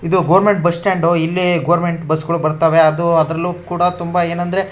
ಇದು government bus stand . ಇಲ್ಲಿ government ಬಸ್ಸುಗಳು ಬರ್ತವೆ ಅದು ಅದ್ರಲ್ಲೂ ಕೂಡ ತುಂಬಾ ಏನಂದ್ರೆ --